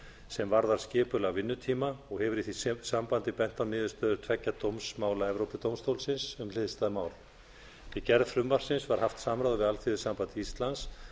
sem varðar skipulag vinnutíma og hefur í því sambandi bent á niðurstöður tveggja dómsmála evrópudómstólsins um hliðstæð mál við gerð frumvarpsins var haft samráð við alþýðusamband íslands